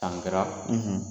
San kɛra ,